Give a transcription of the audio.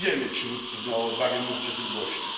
niewielu przywódców miało odwagę mówić o tym głośno.